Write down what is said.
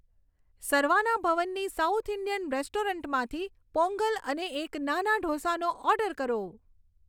સરવાના ભવનની south Indian રેસ્ટોરન્ટમાંથી પોંગલ અને એક નાના ઢોસાનો ઓર્ડર કરો